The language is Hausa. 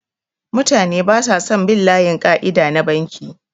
Mutane basa son bin layin ƙaida na banki